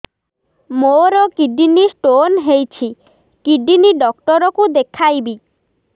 ମୋର kidney stone ହେଇଛି kidney doctor କୁ ଦେଖାଇବି